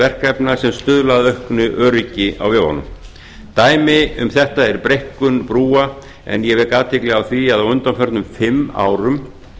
verkefna sem stuðla að auknu öryggi á vegunum dæmi um þetta er breikkun brúa en ég vek athygli á því að á undanförnum fimm árum